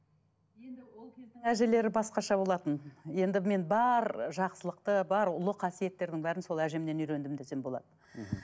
енді ол кездің әжелері басқаша болатын енді мен бар жақсылықты бар ұлы қасиеттердің бәрін сол әжемнен үйрендім десем болады мхм